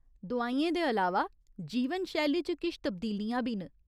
दोआइयें दे अलावा, जीवनशैली च किश तब्दीलियां बी न।